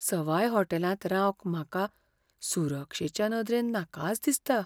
सवाय हॉटॅलांत रावंक म्हाका सुरक्षेचे नदरेन नाकाच दिसता.